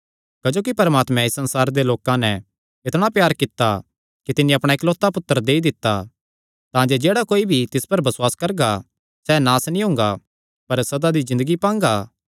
क्जोकि परमात्मैं इस संसारे दे लोकां नैं इतणा प्यार कित्ता कि तिन्नी अपणा इकलौता पुत्तर देई दित्ता तांजे जेह्ड़ा कोई भी तिस पर बसुआस करगा सैह़ नास नीं हुंगा पर सदा दी ज़िन्दगी पांगा